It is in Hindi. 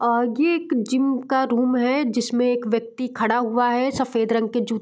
ये एक जिम का रूम है जिसमे एक व्यक्ति खड़ा हुआ है | सफ़ेद रंग के जु --